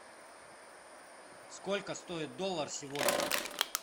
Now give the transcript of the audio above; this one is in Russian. сколько стоит доллар сегодня